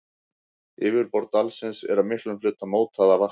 Yfirborð dalsins er að miklum hluta mótað af vatni.